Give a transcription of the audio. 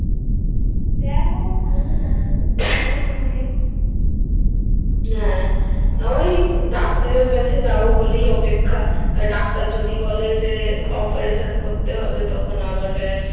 দেখো কালকে doctor কি বলে তোমারে হ্যা ওই operation কাছে যাবো বলে অপেক্ষা আবার doctor যদি বলে যে করতে হবে তখন যাবে ব্যাস